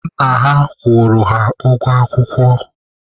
Nna ha kwụrụ ha ụgwọ akwụkwọ.